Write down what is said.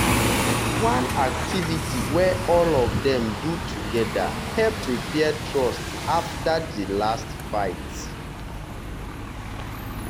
one activity wey all of dem do together help repair trust after di last fight.